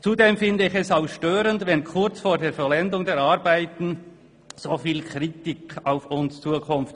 Zudem empfinde ich es als störend, wenn kurz vor der Vollendung der Arbeiten so viel Kritik auf uns zukommt.